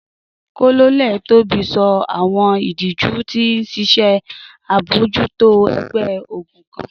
Colonel Tobi sọ awọn idiju ti ṣiṣe abojuto ẹgbẹ-ogun kan.